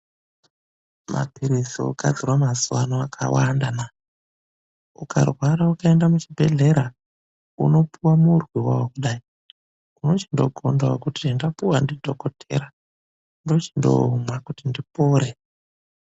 MAPIRIZI OGADZIRWA MAZUWA ANO AKAWANDA NA UKARWARA UKAENDA KUCHIBEHLERA UNOPIWA MURWI WAWO KUDAI ,UNOCHINGOGONDA KUTI ZVENDAPIWA NDI DHOKOTRA NDOCHINDOOMWA KUTI NDIPORE.